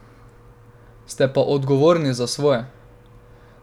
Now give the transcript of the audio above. Ste pa odgovorni za svoje.